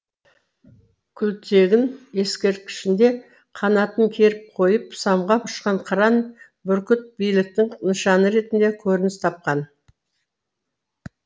күлтегін ескерткішінде қанатын керіп қойып самғап ұшқан қыран бүркіт биліктің нышаны ретінде көрініс тапқан